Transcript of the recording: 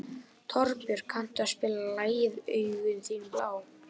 Torbjörg, kanntu að spila lagið „Augun þín blá“?